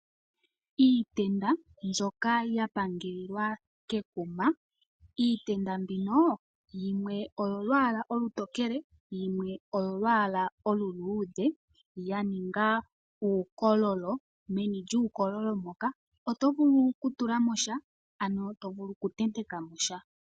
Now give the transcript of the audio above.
Iitenda mbyoka ya pangelelwa kekuma. Iitenda mbino yimwe oyolwaala olutokele, yimwe oyo lwaala oluluudhe, yaninga uukololo. Meni lyuukololo moka oto vulu okutulamo sha, ano tovulu okutenteka mo sha.